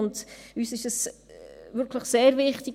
Uns ist dieser Punkt wirklich sehr wichtig.